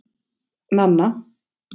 Nanna